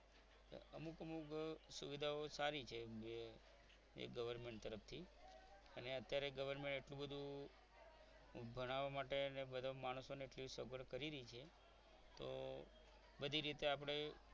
અમુક અમુક સુવિધાઓ સારી છે એ ગવર્મેન્ટ તરફથી અને અત્યારે government એટલું બધું ભણાવવા માટે અને માણસો માટે એટલી સગવડ કરી રહી છે તો બધી રીતે આપણે